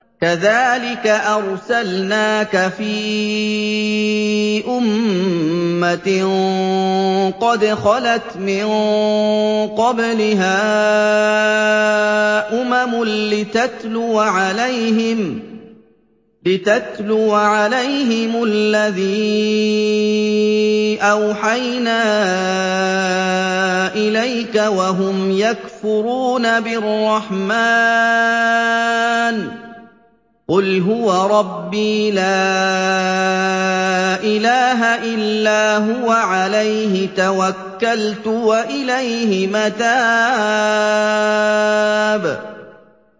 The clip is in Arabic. كَذَٰلِكَ أَرْسَلْنَاكَ فِي أُمَّةٍ قَدْ خَلَتْ مِن قَبْلِهَا أُمَمٌ لِّتَتْلُوَ عَلَيْهِمُ الَّذِي أَوْحَيْنَا إِلَيْكَ وَهُمْ يَكْفُرُونَ بِالرَّحْمَٰنِ ۚ قُلْ هُوَ رَبِّي لَا إِلَٰهَ إِلَّا هُوَ عَلَيْهِ تَوَكَّلْتُ وَإِلَيْهِ مَتَابِ